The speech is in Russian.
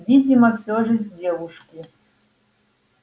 видимо всё же с девушки